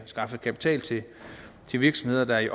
skaffe kapital til virksomheder der er i